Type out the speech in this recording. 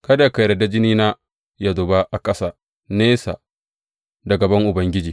Kada ka yarda jinina yă zuba a ƙasa nesa da gaban Ubangiji.